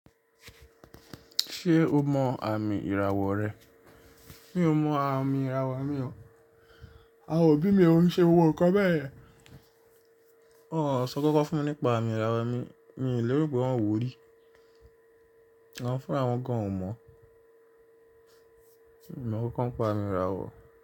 Ṣé o mọ àmì ìràwọ̀ rẹ? Mi ò mọ àmì ìràwọ̀ mi o. Awon obí mi òun ṣe gbogbo nkan bẹ́ẹ̀ yẹn. Wọn ò sọ kankan fún mi nípa àmì ìràwọ̀ mi, mi ò lérò pé wọ́n wò ó rí. Àwọn fún àwọn kan ò mọ̀. Mi ò mọ kankan npa àmì ìràwọ̀.